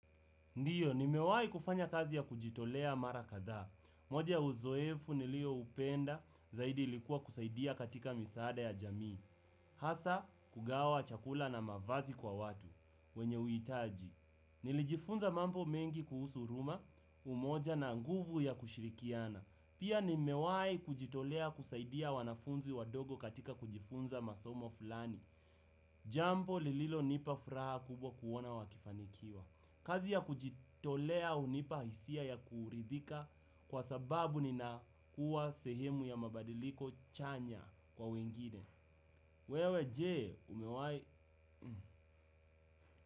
Ndiyo, nimewai kufanya kazi ya kujitolea mara kadhaa. Mwoja ya uzoefu nilioupenda zaidi ilikuwa kusaidia katika misaada ya jamii. Hasa, kugawa, chakula na mavazi kwa watu. Wenye uhitaji. Nilijifunza mambo mengi kuhusu uruma, umoja na nguvu ya kushirikiana. Pia nimewai kujitolea kusaidia wanafunzi wadogo katika kujifunza masomo fulani. Jambo lililonipa furaha kubwa kuona wakifanikiwa. Kazi ya kujitolea hunipa hisia ya kuridhika kwa sababu nina kuwa sehemu ya mabadiliko chanya kwa wengine. Wewe jee umewai.